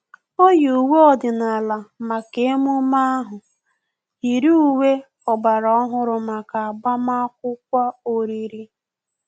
O yi uwe ọdịnala maka emume ahu, yiri uwe ọgbara ọhụrụ maka agbamakwụkwọ oriri